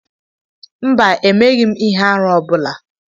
mba, emeghịm ihe-árú ọ bula